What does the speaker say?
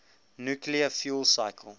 nuclear fuel cycle